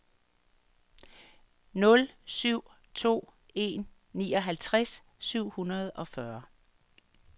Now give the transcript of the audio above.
nul syv to en nioghalvtreds syv hundrede og fyrre